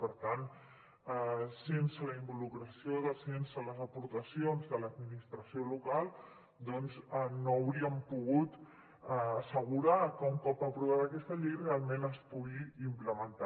per tant sense la involucració sense les aportacions de l’administració local doncs no hauríem pogut assegurar que un cop aprovada aquesta llei realment es pogués implementar